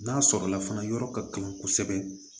N'a sɔrɔla fana yɔrɔ ka kan kosɛbɛ